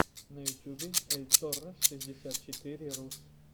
на ютюбе эльторро шестьдесят четыре рус